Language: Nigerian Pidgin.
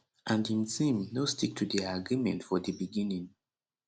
and im team no stick to dia agreement for di beginning